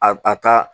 A a ka